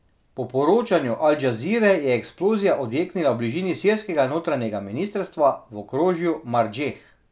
Po poročanju Al Džazire je eksplozija odjeknila v bližini sirskega notranjega ministrstva v okrožju Mardžeh.